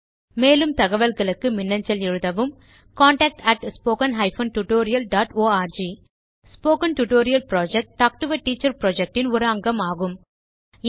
மேலும் தகவல்களுக்கு மின்னஞ்சல் எழுதவும் contactspoken tutorialorg spoken tutorial project talk to a teacher project இன் ஒரு அங்கமாகும்